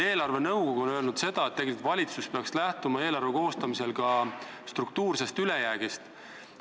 Eelarvenõukogu on öelnud, et valitsus peaks eelarve koostamisel lähtuma ka struktuursest ülejäägist.